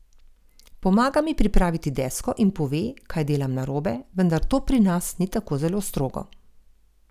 Pomaga mi pripraviti desko in pove, kaj delam narobe, vendar to pri nas ni tako zelo strogo.